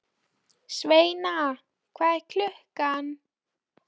Sveina, hvað er klukkan?